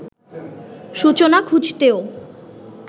সূচনা খুঁজতেও